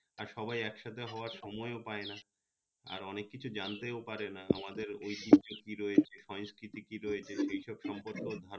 আর সবাই এক সাথে হওয়ার সময় ও পায় না আর অনেক কিছু জানতেও পারে না আমাদের ওই ঐতিহ্য কি রয়েছে সংস্কৃতি কি রয়েছে সে সব সম্পর্কে ধারনা